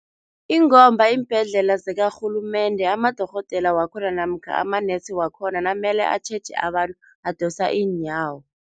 Ingomba iimbhedlela zikarhulumende amadorhodela wakhona namkha amanesi wakhona namele atjheje abantu, badosa iinyawo.